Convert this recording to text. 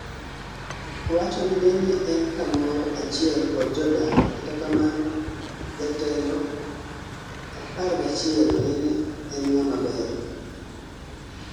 owacho ni nene en kamoro achiel kod jodak kata kamano jatelo Xi nene en ngama ber